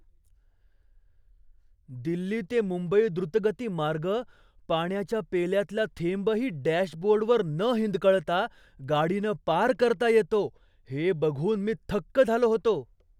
दिल्ली ते मुंबई द्रुतगती मार्ग पाण्याच्या पेल्यातला थेंबही डॅशबोर्डवर न हिंदकळता गाडीनं पार करता येतो हे बघून मी थक्क झालो होतो.